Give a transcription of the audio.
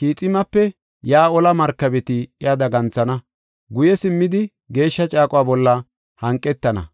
Kiximape yaa olaa markabeti iya daganthana. Guye simmidi, geeshsha caaquwa bolla hanqetana.